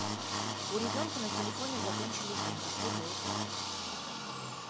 у ребенка на телефоне закончились деньги что делать